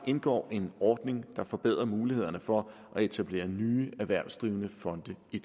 indgår en ordning der forbedrer mulighederne for at etablere nye erhvervsdrivende fonde i